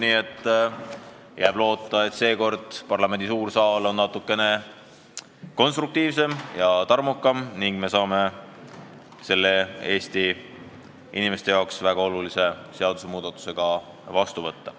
Nii et jääb loota, et seekord on parlamendi suur saal natukene konstruktiivsem ja tarmukam ning me saame selle Eesti inimeste jaoks väga olulise seadusmuudatuse ka vastu võtta.